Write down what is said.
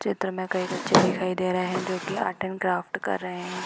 चित्र में कई बच्चे दिखाई दे रहे हैं जो की आर्ट एंड क्राफ्ट कर रहे हैं |